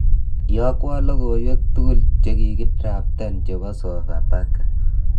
Iyokwon logoiwek tugul jekikidraftan chebo Sofapaka